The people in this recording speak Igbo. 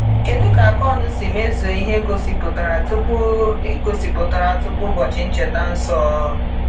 Kedu ka Akon si mezuo ihe e gosipụtara tupu gosipụtara tupu ụbọchị ncheta nsọ?